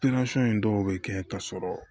in dɔw bɛ kɛ ka sɔrɔ